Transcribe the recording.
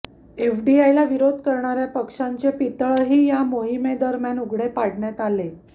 एफडीआयला विरोध करणाऱ्या पक्षांचे पितळही या मोहिमेदरम्यान उघडे पाडण्यात आले